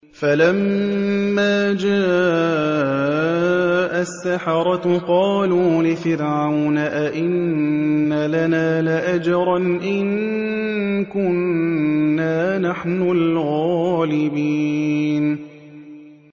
فَلَمَّا جَاءَ السَّحَرَةُ قَالُوا لِفِرْعَوْنَ أَئِنَّ لَنَا لَأَجْرًا إِن كُنَّا نَحْنُ الْغَالِبِينَ